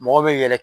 Mɔgɔ bɛ yɛlɛ